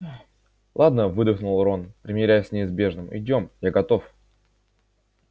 ладно выдохнул рон примиряясь с неизбежным идём я готов